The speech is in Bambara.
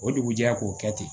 O dugujɛ k'o kɛ ten